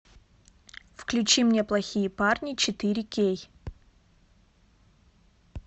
включи мне плохие парни четыре кей